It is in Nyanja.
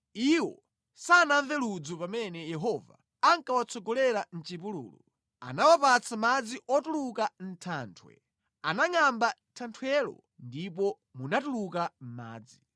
Iwo sanamve ludzu pamene Yehova ankawatsogolera mʼchipululu; anawapatsa madzi otuluka mʼthanthwe; anangʼamba thanthwelo ndipo munatuluka madzi.